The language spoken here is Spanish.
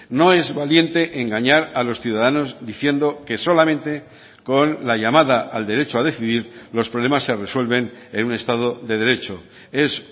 no es valiente engañar a los ciudadanos diciendo que solamente con la llamada al derecho a decidir los problemas se resuelven en un estado de derecho es